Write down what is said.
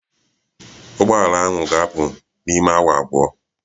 Ụgbọ ala ahụ ga-apụ n'ime awa abụọ